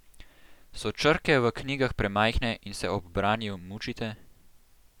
So črke v knjigah premajhne in se ob branju mučite?